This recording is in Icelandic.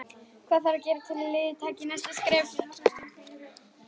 Hvað þarf að gera til að liðið taki næsta skref?